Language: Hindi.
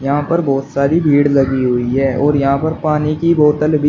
यहां पर बहुत सारी भीड़ लगी हुई है और यहां पर पानी की बोतल भी--